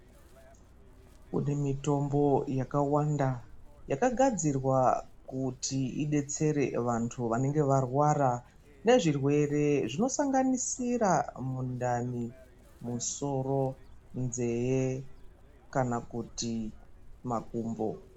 Kunemitombo yakawanda yakagadzirwa kuti idetsere vantu vanenge varwara nezvirwere zvinosanganisira mundani ,musoro, nzeve ,kana kuti makumbo.